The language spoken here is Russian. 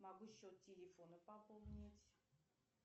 могу счет телефона пополнить